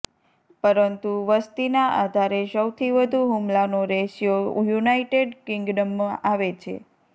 પરંતુ વસતીના આધારે સૌથી વધુ હૂમલાનો રેશિયો યુનાઇટેડ કિંગ્ડમ આવે છે